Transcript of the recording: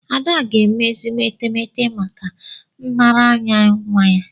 Ada ga-eme ezigbo etemeete maka nraranye nwa ya.